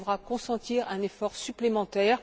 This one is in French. Elle devra consentir un effort supplémentaire.